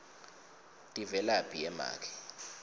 tivelaphi ye make